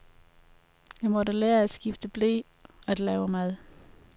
Jeg måtte lære at skifte ble, at lave mad.